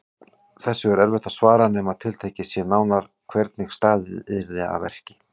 Þessu er erfitt að svara nema tiltekið sé nánar hvernig staðið yrði að verki.